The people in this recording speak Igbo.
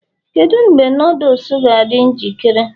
kedu mgbe noodles ga-adị njikere?